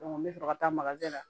n bɛ fɛ ka taa makarejɛ la